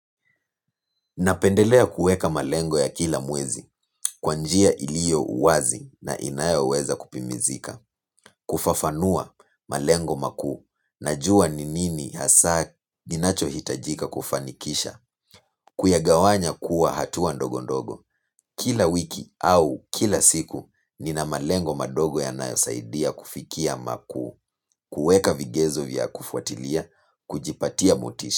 Napendelea kueka malengo ya kila mwezi, kwa njia ilio wazi na inayo weza kupimizika, kufafanua malengo makuu, najua ni nini hasa kinacho hitajika kufanikisha, kuyagawanya kuwa hatua ndogo ndogo, kila wiki au kila siku nina malengo madogo yanayo saidia kufikia maku, kueka vigezo vya kufuatilia, kujipatia mutisha.